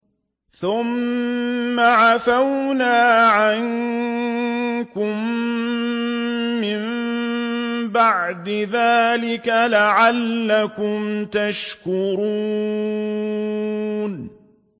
ثُمَّ عَفَوْنَا عَنكُم مِّن بَعْدِ ذَٰلِكَ لَعَلَّكُمْ تَشْكُرُونَ